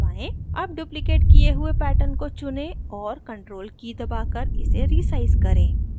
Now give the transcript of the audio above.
अब duplicated key हुए pattern को चुनें और ctrl key दबाकर इसे resize करें